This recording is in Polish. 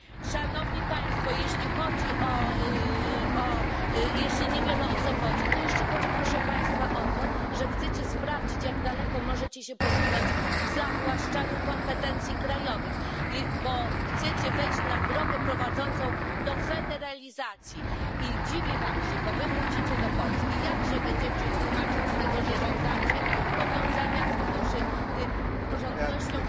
Szanowni Państwo, jeśli nie wiemy o co chodzi, to jeszcze chodzi proszę państwa o to, że chcecie sprawdzić, jak daleko możecie się posunąć w zawłaszczaniu kompetencji krajowych, bo chcecie wejść na drogę prowadzącą do federalizacji i dziwię wam się, bo wy wrócicie do Polski, jak się będziecie tłumaczyć z tego, że żądacie powiązania funduszy z praworządnością